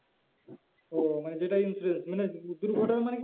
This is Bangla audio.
ও মানে যেটা insurance মানে দুর্ঘটনা মানে কি